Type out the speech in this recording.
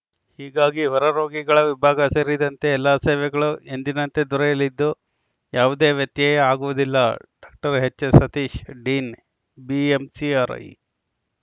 ಹೀಗಾಗಿ ಹೊರ ರೋಗಿಗಳ ವಿಭಾಗ ಸೇರಿದಂತೆ ಎಲ್ಲ ಸೇವೆಗಳು ಎಂದಿನಂತೆ ದೊರೆಯಲಿದ್ದು ಯಾವುದೇ ವ್ಯತ್ಯಯ ಆಗುವುದಿಲ್ಲ doctor HS Satish dean BMCRI